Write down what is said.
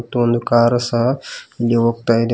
ಮತ್ತೊಂದು ಕಾರು ಸಹ ಹಿಂಗೆ ಹೋಗ್ತಾ ಇದೆ.